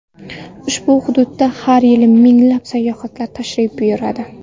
Ushbu hududga har yili minglab sayyohlar tashrif buyuradi.